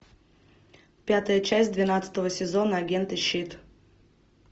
пятая часть двенадцатого сезона агенты щит